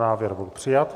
Návrh byl přijat.